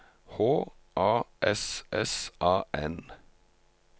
H A S S A N